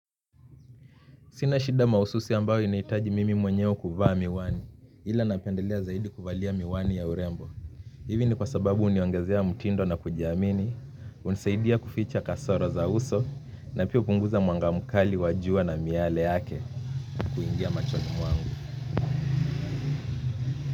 Sina shida maususi ambao inaitaji mimi mwenyewe kuvaa miwani, ila napendelea zaidi kuvalia miwani ya urembo. Hivi ni kwa sababu huniongezea mtindo na kujiamini, hunisaidia kuficha kasoro za uso, na pia hupunguza mwanga mkali wa jua na miale yake kuingia machoni mwangu.